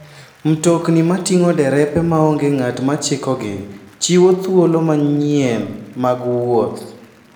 Mtokni mating'o derepe maonge ng'at ma chikogi, chiwo thuolo manyien mag wuoth.